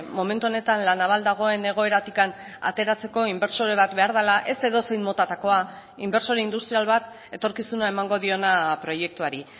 momentu honetan la naval dagoen egoeratik ateratzeko inbertsore bat behar dela ez edozein motatakoa inbertsore industrial bat etorkizuna emango diona proiektuari